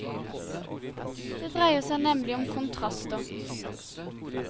Det dreier seg nemlig om kontraster.